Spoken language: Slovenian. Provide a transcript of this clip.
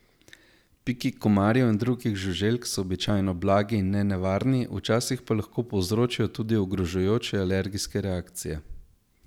Piki komarjev in drugih žuželk so običajno blagi in nenevarni, včasih pa lahko povzročijo tudi ogrožajoče alergijske reakcije.